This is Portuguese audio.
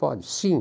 Pode, sim.